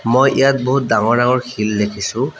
মই ইয়াত বহুত ডাঙৰ ডাঙৰ শিল দেখিছোঁ।